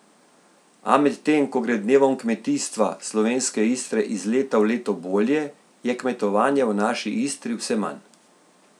A medtem ko gre Dnevom kmetijstva Slovenske Istre iz leta v leto bolje, je kmetovanja v naši Istri vse manj.